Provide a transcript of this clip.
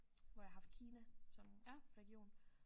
Hvor jeg har haft Kina som region